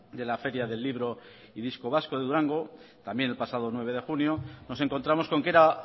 de la feria del libro y disco vasco de durango también el pasado nueve de junio nos encontramos con que era